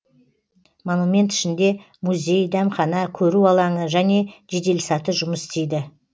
монумент ішінде музей дәмхана көру алаңы және жеделсаты жұмыс істейді